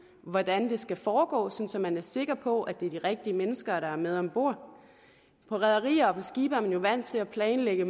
hvordan det skal foregå så så man er sikker på at det er de rigtige mennesker der er med ombord på rederier og på skibe er man jo vant til at planlægge